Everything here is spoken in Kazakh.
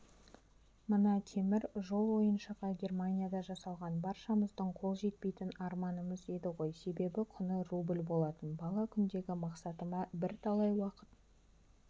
мына темір жол ойыншығы германияда жасалған баршамыздың қол жетпейтін арманымыз еді ғой себебі құны рубль болатын бала күндегі мақсатыма бірталай уақыт